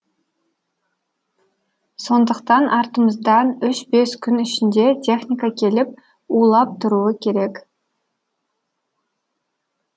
сондықтан артымыздан үш бес күн ішінде техника келіп улап тұруы керек